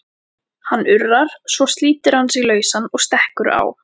Hann urrar, svo slítur hann sig lausan og stekkur á